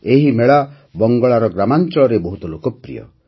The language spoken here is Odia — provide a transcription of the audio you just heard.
ଏହି ମେଳା ବଙ୍ଗଳାର ଗ୍ରାମାଞ୍ଚଳରେ ବହୁତ ଲୋକପ୍ରିୟ